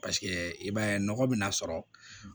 Paseke i b'a ye nɔgɔ bɛna sɔrɔ